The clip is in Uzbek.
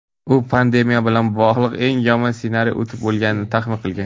U pandemiya bilan bog‘liq eng yomon ssenariy o‘tib bo‘lganini taxmin qilgan.